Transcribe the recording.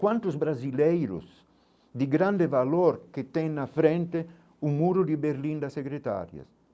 Quantos brasileiros de grande valor que tem na frente um muro de Berlim das secretárias?